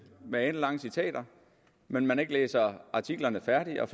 med alenlange citater men man læser artiklerne færdige og